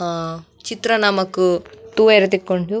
ಅಹ್ ಚಿತ್ರ ನಮಕ್ ತೂವರೆ ತಿಕ್ಕುಂಡು.